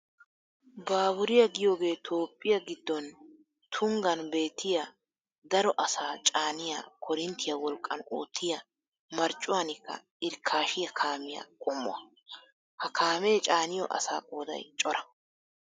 Baaburiya giyogee toophphiya giddon tunggan beettiya daro asaa caaniya koorinttiya wolqqan oottiya marccuwaanikka irkkashiya kaamiya qommuwa. Ha kaamee caaniyo asaa qooday cora.